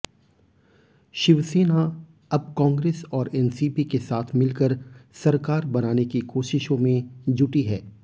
शिवसेना अब कांग्रेस और एनसीपी के साथ मिलकर सरकार बनाने की कोशिशों में जुटी है